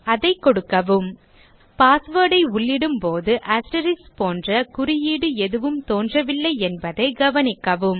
அதை கொடுக்கவும் password ஐ உள்ளிடும் போது அஸ்டெரிஸ்க் போன்ற குறியீடு எதுவும் தோன்றவில்லை என்பதை கவனிக்கவும்